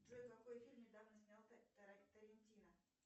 джой какой фильм недавно снял тарантино